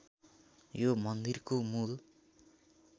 यो मन्दिरको मूल